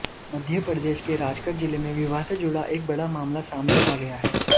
मध्यप्रदेश के राजगढ़ जिले में विवाह से जुड़ा एक बड़ा मामला सामने आ गया है